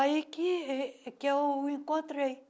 Aí que êh que eu encontrei.